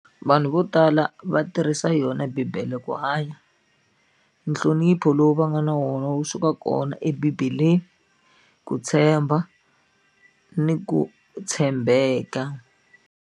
Vanhu vo tala va tirhisa yona bibele ku hanya nhlonipho lowu va nga na wona wu suka kona ebibeleni ku tshemba ni ku tshembeka.